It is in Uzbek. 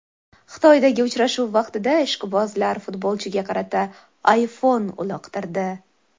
Xitoydagi uchrashuv vaqtida ishqibozlar futbolchiga qarata iPhone uloqtirdi.